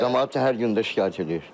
Camaat hər gün də şikayət eləyir.